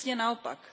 Přesně naopak.